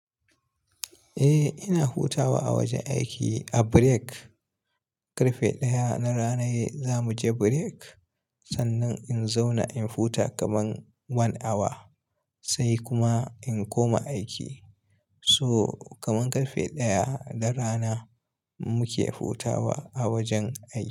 Eh ina hutawa a wajen aiki, a break. Karfe ɗaya na rana zamu je break. Sannan in zauna in huta kaman 1 awa sai kuma in koma aiki. So kaman karfe ɗaya na rana muke hutawa a wajen aiki.